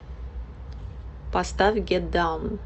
поставь гет даун